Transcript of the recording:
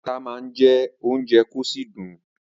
Ata má ń jẹ́ ounje kò sì dùn